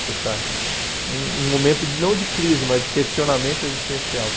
Você está um num momento de não de crise, mas de questionamento existencial.